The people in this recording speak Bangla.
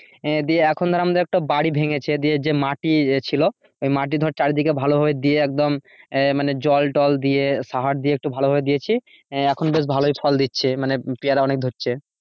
আহ দিয়ে এখন ধর আমরা একটা বাড়ি ভেঙেছে যে মাটির ছিল ওই মাটি ধর চারিদিকে ভালো করে দিয়ে একদম আহ মানে জল তল দিয়ে সাড় দিয়ে একটু ভালো ভাবে দিয়েছি আহ এখন ধর বেশ ভালোই ফল দিচ্ছে মানে পেয়ারা অনেক ধরছে।